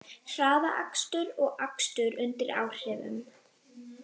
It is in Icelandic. Hraðakstur og akstur undir áhrifum